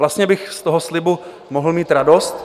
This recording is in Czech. Vlastně bych z toho slibu mohl mít radost.